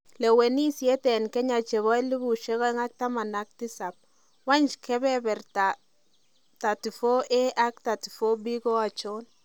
Lewenisiet en Kenya chebo 2017: Wany keberta 34Aak 34B ko achon?